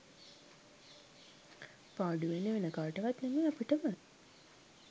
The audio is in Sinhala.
පාඩුවෙන්නේ වෙන කාටවත් නෙමෙයි අපිටමයි.